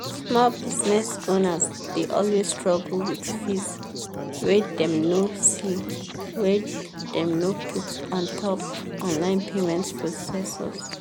small business owners dey always struggle with fees wey dem no see wey dem no put ontop online payment processors.